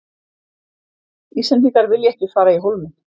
Íslendingar vilja ekki fara í Hólminn